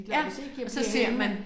Ja og så ser man